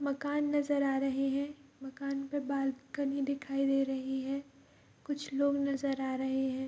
मकान नजर आ रहे हैं मकान पे बालकनी दिखाई दे रही है कुछ लोग नजर आ रहे हैं।